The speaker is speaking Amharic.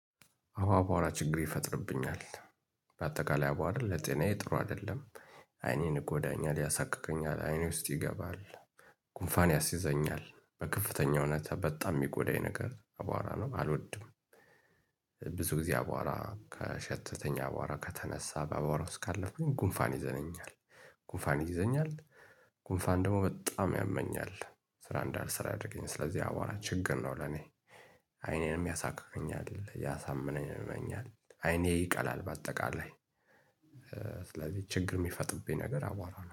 አዎ አቧራ ችግር ይፈጥርብኛል በአጠቃላይ አቧራ ለጤናዬ ጥሩ አይደለም አይኔን እጎዳኛል ያሳክከኛል አይኔ ውስጥ ይገባል። ጉንፋን ያስይዘኛል በከፍተኛ ሁኔታ በጣም የሚጎዳኝ ነገር አቧራ ነው አልወድም። ብዙ ጊዜ አቧራ ከሸተተን አቧራ ከተነሳ በአቧራ ውስጥ እስካለፈኩኝ ጉንፋን ይዘኛል። ጉንፋን ይዘኛል። ጉንፋን ደግሞ በጣም ያመኛል። ስራ እንዳልሰራ ያደረገናል ስለዚህ አቧራ ችግር ነው ለኔ። አይኔንም ያሳክከኛል ያሳምመኛል አይኔ ይቀላል በአጠቃላይ። ስለዚህ ችግር የሚፈጥብኝ ነገር አቧራ ነው